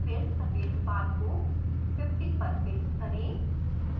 फिर सफ़ेद बार को 50 पर फिक्स करें